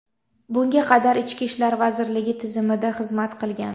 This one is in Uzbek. Bunga qadar Ichki ishlar vazirligi tizimida xizmat qilgan.